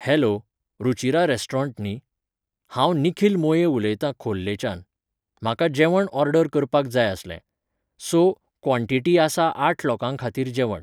Hello, Ruchira restaurant न्ही? हांव निखिल मोये उलयतां खोर्लेच्यान. म्हाका जेवण ऑर्डर करपाक जाय आसलें. सो, क्वॉंटिटी आसा आठ लोकांखातीर जेवण.